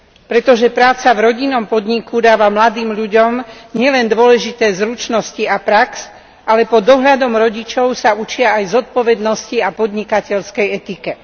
Pretože práca v rodinnom podniku dáva mladým ľuďom nielen dôležité zručnosti a prax, ale pod dohľadom rodičov sa učia aj zodpovednosti a podnikateľskej etike.